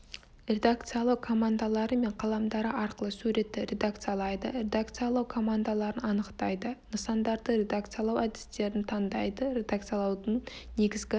редакциялау командалары мен қаламдары арқылы суретті редакциялайды редакциялау командаларын анықтайды нысандарды редакциялау әдістерін таңдайды редакциялаудың негізгі